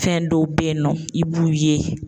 Fɛn dɔw bɛ ye nɔ i b'u ye.